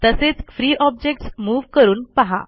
तसेच free objects move करून पहा